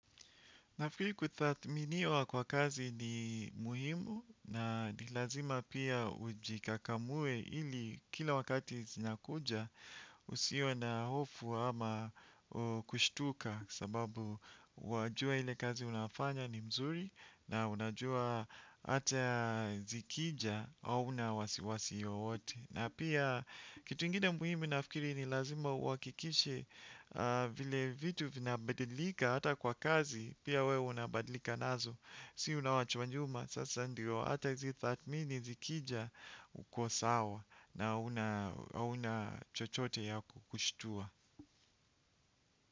Nafikiri kutathminiwa kwa kazi ni muhimu na ni lazima pia ujikakamue ili kila wakati zinakuja usiwe na hofu ama kushtuka sababu wajua ile kazi unafanya ni mzuri na unajua ata zikija hauna wasiwasi yoote. Na pia kitu ingine muhimu nafikiri ni lazima uakikishe vile vitu vinabadilika hata kwa kazi, pia we unabadilika nazo. Si unwachwa nyuma, sasa ndio, hata hizi thatmini zikija uko sawa na hauna chochote ya kukushtua.